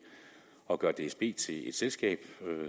at gøre dsb til et selskab